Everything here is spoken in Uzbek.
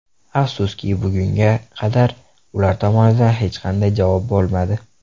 Afsuski, bugunga qadar ular tomonidan hech qanday javob bo‘lmadi.